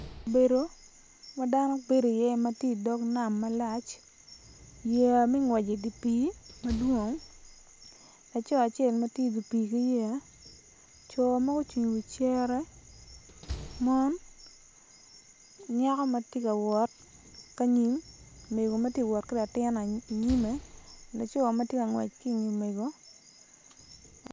Kabedo ma dano bedi iye ma ti idog nam malac yeya me ngwec idi pii madwong laco acel ma tye idi pii ki yeya co ma gucung i wi cere mon nyako ma ti ka wot ka nyim mego ma ti wot ki latin inyime laco ma ti ka ngwec ki inge mego